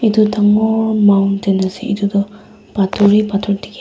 etu dangor mountain asae etu toh pator e pator diki asae.